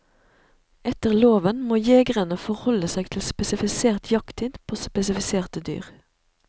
Etter loven må jegerne forholde seg til spesifisert jakttid på spesifiserte dyr.